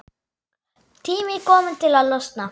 Tími kominn til að losna.